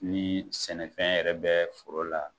Ni sɛnɛ fɛn yɛrɛ bɛ foro la